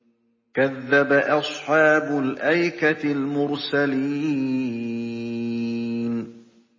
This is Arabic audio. كَذَّبَ أَصْحَابُ الْأَيْكَةِ الْمُرْسَلِينَ